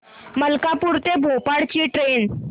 मलकापूर ते भोपाळ ची ट्रेन